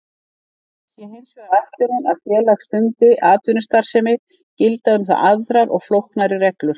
Sé hins vegar ætlunin að félag stundi atvinnustarfsemi gilda um það aðrar og flóknari reglur.